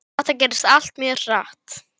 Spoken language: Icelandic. Annað væri hroki.